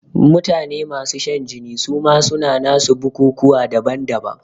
Mutane masu shan jini suma suna nasu bukukuwa daban daban